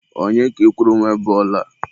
Onye ka ị kwuru nwe bọọlụ a?